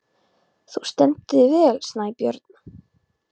Þú stendur þig vel, Snæbjörn!